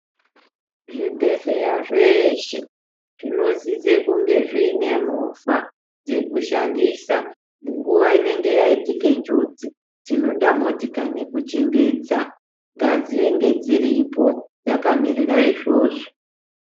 Zvibhedhleya zveshe zvinosisa kunge zviine movha dzekushandisa nguwa inenge yaitika njodzi tinoda motika nekuchimbidza ngadzinge dziripo dzakamirira izvozvo .